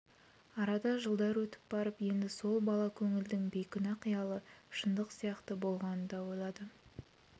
арада жылдар өтіп барып енді сол бала көңілдің бейкүнә қиялы шындық сияқты болғанын да ойлады